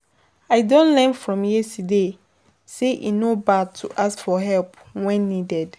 I don learn from yesterday say e no bad to ask for help when needed.